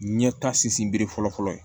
Ɲɛtasi bere fɔlɔ fɔlɔ ye